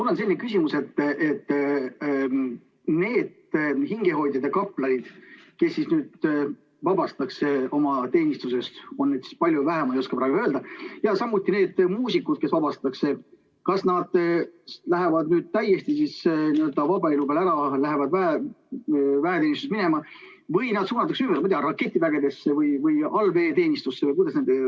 Mul on selline küsimus, et need hingehoidjad ja kaplanid, kes nüüd vabastatakse teenistusest, on neid siis palju või vähe, ma ei oska praegu öelda, ja samuti need muusikud, kes vabastatakse, kas nad lähevad täiesti n-ö vaba elu peale ära, lähevad väeteenistusest minema või nad suunatakse ümber, ma ei tea, raketivägedesse või allveeteenistusse?